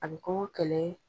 A bɛ kɔngɔ kɛlɛɛ.